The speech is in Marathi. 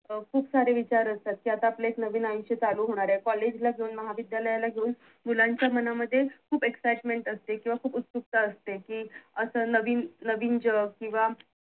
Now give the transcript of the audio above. अं खूप सारे विचार असतात कि आता आपलं एक नवीन आयुष्य चालू होणार आहे कॉलेज ला घेऊन महाविद्यालयाला घेऊन मुलांच्यास मनामध्ये खूप excitement असते किंवा खूप उत्सुकता असते कि असं नवीन-नवीन जग किंवा